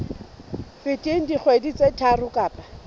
feteng dikgwedi tse tharo kapa